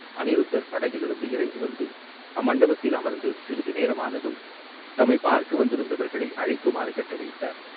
அநிருத்தர் படகிலிருந்து இறங்கி வந்து அம்மண்டபத்தில் அமர்ந்து சிறிது நேரம் ஆனதும், தம்மைப் பார்க்க வந்திருந்தவர்களை அழைக்குமாறு கட்டளையிட்டார்.